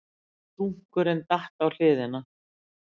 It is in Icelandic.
Dunkurinn datt á hliðina.